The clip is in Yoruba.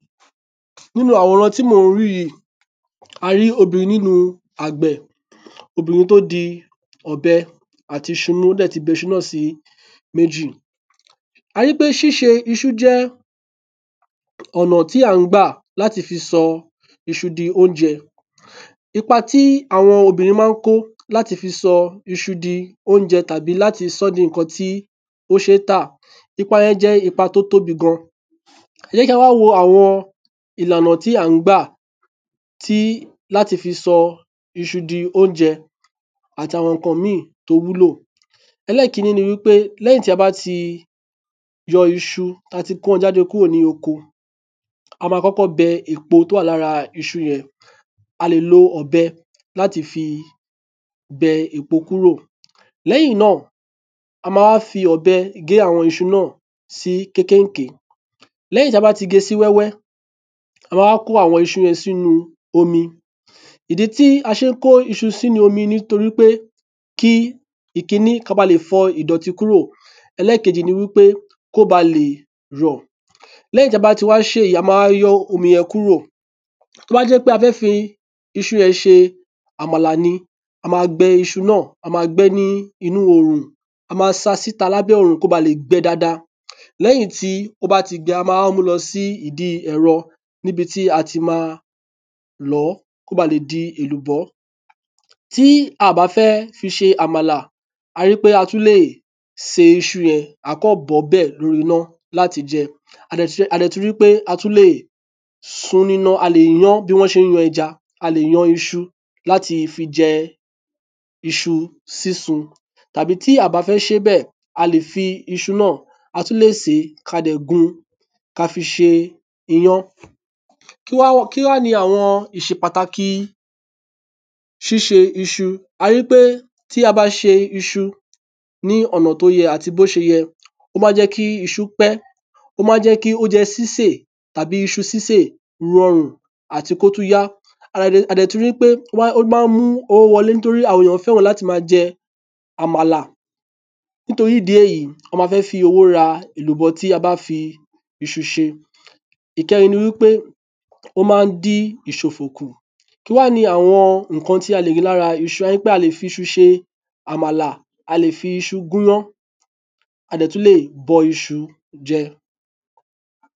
Nínú àwòrán tí mo ń rí yìí, a rí obìnrin nínú iṣẹ́ àgbẹ̀, obinrin tó di ọ̀bẹ àti iṣu mú. Ó sì ti gé iṣu náà sí méjì. A rí i pé síse iṣu jẹ́ ọ̀nà tí a ń gbà láti fi sọ iṣu di oúnjẹ. Ipa tí àwọn obìnrin máa ń kó láti sọ iṣu di ohun tó ṣe é tà kì í ṣe kékeré. Ẹ jẹ́ ká wáá wò àwọn ìlànà tí à ń gbà láti fi sọ iṣu di oúnjẹ àtàwọn nǹkan mí-ìn tó wúlò. Lákọ̀ọ́kọ́ ná, lẹ́yìn tí a bá ti wa iṣu kúrò nínú oko, a máa kọ́kọ́ bẹ èèpo ara rẹ kúrò. A lè lo ọ̀bẹ láti fi bẹ èèpo kúrò lára iṣu Lẹ́yìn náà, a máa gé é kéékèèké. Lẹ́yìn náà, a máa kó o sínú omi. Ìdí tí a ṣe ń kó o sínú omi ni pé kí a lè fọ ìdọ̀tí ara wọn Kúrò. Ẹlẹ́ẹ̀kejì ni pé kí ó baà le rọ̀. Lẹ́yìn tí a bá ti ṣe èyí tán, a máa yọ omi yẹn kúrò. Tó bá jẹ́ pé a fẹ́ẹ́ fi í ṣe èlùbọ́ tí a fi ń ro àmàlà ni, a máa sá a sínú òòrùn kí ò báa lè gbẹ dáadáa. Lẹ́yìn náà ni a máa gbé e lọ sídìí ẹ̀rọ láti lọ̀ ọ́ kí ó le di èlùbọ́ lúbúlúbú. Tí a kò bá fẹ́ẹ́ fi í ṣe èlùbọ́, a kàn máa bọ iṣu yẹn bẹ́ẹ̀ lórí iná ni. A máa fi ìyọ̀ sí i. Bí iṣu náà bá ti hó lórí iná fún bíi ogójì ìṣẹ́jú sí wákàtí kan, yóó ti rọ̀, ó ti jinná fún jíjẹ nìyẹn. Bákan náà ni a le sun iṣu jẹ. Ẹ̀yin iná ni a fi ń sun iṣu gẹ́gẹ́ bí a ṣe máa ń yan ẹja. Tí a kò bá fẹ́ẹ́ ṣe é bẹ́ẹ̀, a tún lè sè é, kí a fi í gún iyán. A kì í fi iyọ̀ sí iṣu tí a bá fẹ́ẹ́ fi gún iyán. Odó la fi máa ń gún iyán. Kí wáá ni pàtàkì síse iṣu. Tí a bá se iṣu bó ṣe yẹ, ó máa ń je kí iṣu pẹ́. Ó sì máa ń jẹ́ kí oúnjẹ sísè rọrùn. Ó máa ń mú owó wọlé nítorí pé àwọn èèyàn fẹ́ràn láti máa jẹ àmàlà. Nítorí ìdí èyí, wọ́n máa ń fi owó rà nǹkan tí a bá fi iṣu ṣe. Ìkẹrin ni pé ó máa ń dín ìṣòfò kú. Ní kúkúrú, kí wáá ni àwọn nǹkan tí a lè rí lára iṣu? A lè fi iṣu ṣe àmàlà, a lè fi iṣu gún iyán. A le bọ iṣu jẹ. A sì tún lè sún iṣu jẹ.